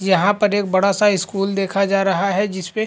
यहाँ पर एक बड़ा-सा स्कूल देखा जा रहा है जिस पे --